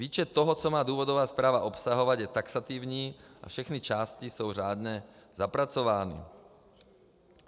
Výčet toho, co má důvodová zpráva obsahovat, je taxativní a všechny části jsou řádně zapracovány.